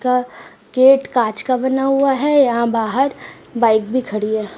का गेट काँच का बना हुआ है। यहाँ बाहर बाइक भी खड़ी है।